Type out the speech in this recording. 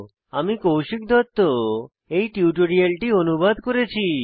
আমি কৌশিক দত্ত এই টিউটোরিয়ালটি অনুবাদ করেছি